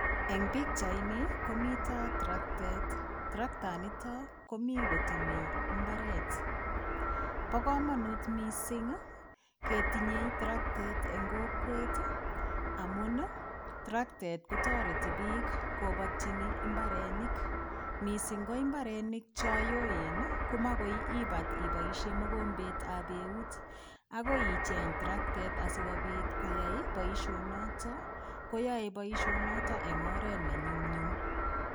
Eng pikchaini ko mito traktet. Trakta nito komi kotemei imbaret. Bo kamanut mising ketinyei traktet eng kokwet amun traktet kotoreti biik kobatyin mbarenik mising ko mbarenik cho yoen ko magoi imbat iboisie mogombetab eut. Agoi icheng traktet sokoyai boisio noto. Koyoe boisionoto eng oret ne nyumnyum.